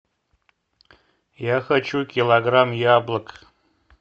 я хочу килограмм яблок